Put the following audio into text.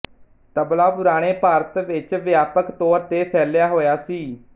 ਤਬਲਾ ਪੁਰਾਣੇ ਭਾਰਤ ਵਿੱਚ ਵਿਆਪਕ ਤੌਰ ਤੇ ਫੈਲਿਆ ਹੋਇਆ ਸੀ